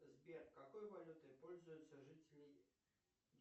сбер какой валютой пользуются жители